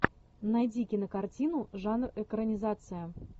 найди кинокартину жанр экранизация